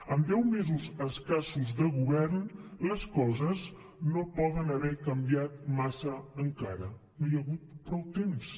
amb deu mesos escassos de govern les coses no poden haver canviat massa encara no hi ha hagut prou temps